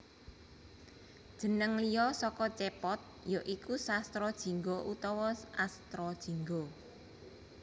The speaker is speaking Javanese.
Jeneng liya saka cèpot ya iku Sastra Jingga utawa Astrajingga